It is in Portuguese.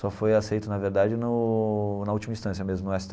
Só foi aceito, na verdade, no na última instância mesmo, no esse